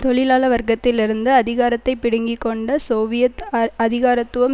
தொழிலாள வர்க்கத்திலிருந்து அதிகாரத்தை பிடுங்கி கொண்ட சோவியத் அ அதிகாரத்துவம்